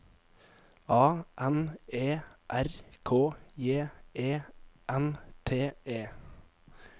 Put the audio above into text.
A N E R K J E N T E